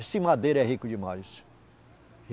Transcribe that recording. Esse madeira é rico demais